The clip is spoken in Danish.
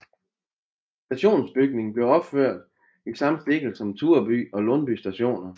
Stationsbygning blev opført i samme stil som Tureby og Lundby stationer